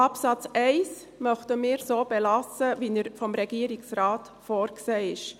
Absatz 1 möchten wir so belassen, wie er vom Regierungsrat vorgesehen ist.